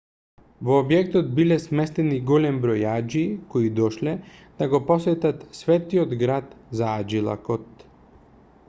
во објектот биле сместени голем број аџии кои дошле да го посетат светиот град за аџилакот